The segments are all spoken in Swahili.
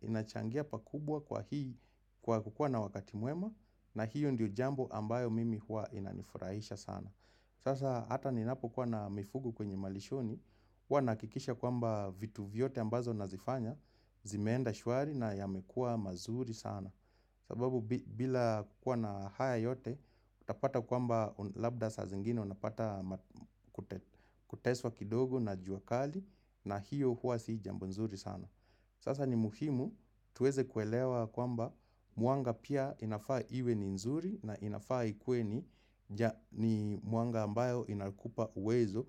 inachangia pakubwa kwa hii kwa kukua na wakati muema na hiyo ndiyo jambo ambayo mimi hua inanifurahisha sana. Sasa ata ninapo kua na mifugu kwenye malishoni hua nakikisha kwamba vitu vyote ambazo nazifanya zimeenda shwari na yamekua mazuri sana. Sababu bila kukua na haya yote utapata kwamba labda sa zingine unapata kuteswa kidogo na juakali. Na hiyo hua si jambo nzuri sana. Sasa ni muhimu tuweze kuelewa kwamba muanga pia inafaa iwe ni nzuri. Na inafaa ikue ni ni muanga ambayo inakupa uwezo.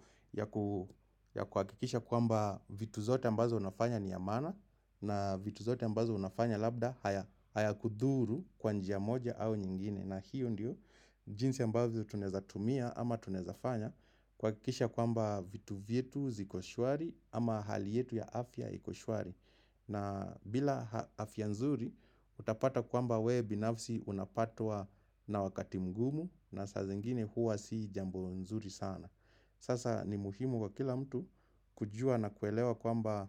Ya kuakikisha kwamba vitu zote ambazo unafanya ni ya mana. Na vitu zote ambazo unafanya labda haya kudhuru kwa njia moja au nyingine. Na hiyo ndiyo jinsi ambazo tuneza tumia ama tuneza fanya. Kwakisha kwamba vitu vietu ziko shwari ama hali yetu ya afya iko shwari. Na bila afya nzuri utapata kwamba we binafsi unapatwa na wakati mgumu na saa zingine huwa si jambo nzuri sana. Sasa ni muhimu kwa kila mtu kujua na kwelewa kwamba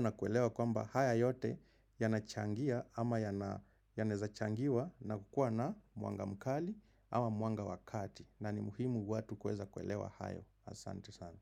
na kuelewa kwamba haya yote yanachangia ama yaneza changiwa na kukua na muanga mkali ama muanga wakati na ni muhimu watu kueza kwelewa hayo asante sana.